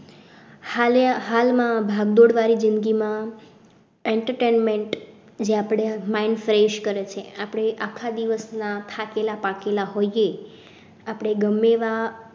હાલ માં ભાગદોડ વાળી જ઼િંદગી માં entertainment જે આપડે mind fresh કરે છે આપડે આખા દિવસ ના થાકેલા પાકેલા હોયે આપણે ગમે એવા